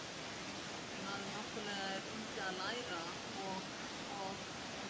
maður náttúrlega var úti að læra og og